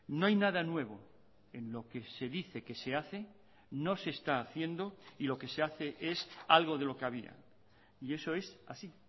no hay nada nuevo en lo que se dice que se hace no se está haciendo y lo que se hace es algo de lo que había y eso es así